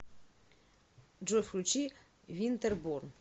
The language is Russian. джой включи винтерборн